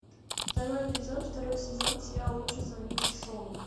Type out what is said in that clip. второй эпизод второй сезон сериал лучше звоните солу